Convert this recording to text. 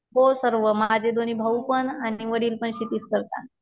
हो सर्व माझे दोन्ही भाऊ पण आणि वडीलपण शेतीच करतात